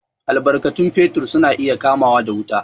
Albarkatun fetir su na iya kamawa da wuta.